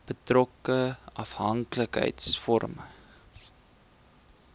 betrokke afhanklikheids vormende